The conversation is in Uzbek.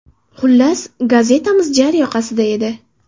Xullas, gazetamiz jar yoqasida edi.